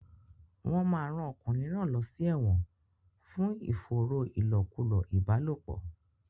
Wọn máa rán ọkùnrin náà lọ sí ẹ̀wọ̀n fún ìfòòró ìlòkulò ìbálòpọ̀.